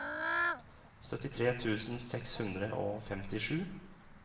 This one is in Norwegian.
syttitre tusen seks hundre og femtisju